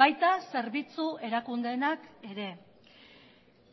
baita zerbitzu erakundeenak ere